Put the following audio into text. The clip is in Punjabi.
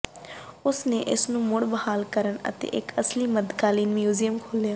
ਉਸ ਨੇ ਇਸ ਨੂੰ ਮੁੜ ਬਹਾਲ ਕਰਨ ਅਤੇ ਇੱਕ ਅਸਲੀ ਮੱਧਕਾਲੀਨ ਮਿਊਜ਼ੀਅਮ ਖੋਲ੍ਹਿਆ